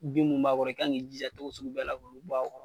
Bin mi b'a kɔrɔ i ka kan k'i jija tocogo sugu bɛɛ la k'olu bɔ a kɔrɔ.